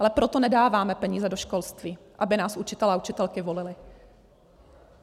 Ale proto nedáváme peníze do školství, aby nás učitelé a učitelky volili.